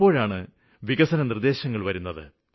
അപ്പോഴാണ് വികസന നിര്ദ്ദേശങ്ങള് വന്നത്